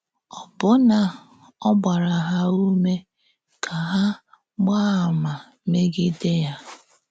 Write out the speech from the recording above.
Ọ̀bụ́nà ọ gbàrà hà ǔmè ka hà “gbàá àmà,” mé̄gìdè ya.